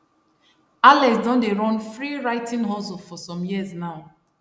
alex don dey run free writing hustle for some years now